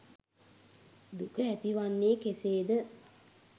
දුක ඇතිවන්නේ කෙසේද?